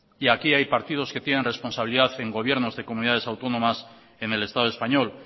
y aquí hay partidos que tienen responsabilidad en gobiernos de comunidades autónomas en el estado español